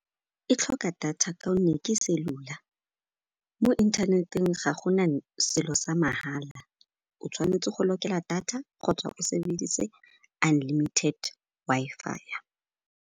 E tlhoka data kaonne ke cellular. Mo inthaneteng ga gona selo sa mahala, o tshwanetse go lokela data kgotsa o sebedise unlimited Wi-Fi-ya.